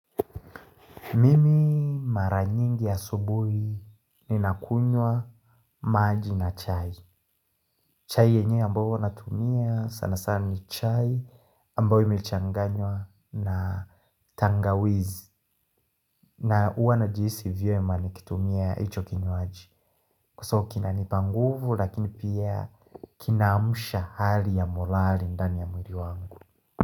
Mimi mara nyingi asubuhi ninakunywa maji na chai. Chai yenye ambayo huwa natumia sana sana ni chai ambayo imchanganywa na tangawizi. Na huwa najiisi vyema n kitumia hicho kinywaji so kinanipa nguvu lakini pia kinaamusha hali ya morali ndani ya mwili wangu.